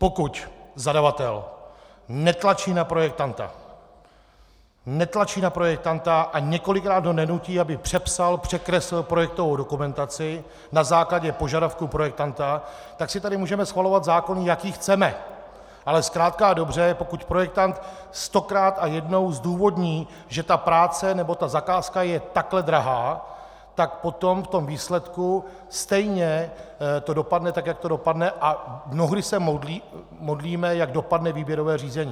Pokud zadavatel netlačí na projektanta, netlačí na projektanta a několikrát ho nenutí, aby přepsal, překreslil projektovou dokumentaci na základě požadavku projektanta, tak si tady můžeme schvalovat zákon, jaký chceme, ale zkrátka a dobře, pokud projektant stokrát a jednou zdůvodní, že ta práce nebo ta zakázka je takhle drahá, tak potom v tom výsledku stejně to dopadne tak, jak to dopadne, a mnohdy se modlíme, jak dopadne výběrové řízení.